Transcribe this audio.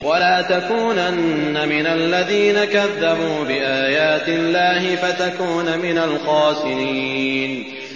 وَلَا تَكُونَنَّ مِنَ الَّذِينَ كَذَّبُوا بِآيَاتِ اللَّهِ فَتَكُونَ مِنَ الْخَاسِرِينَ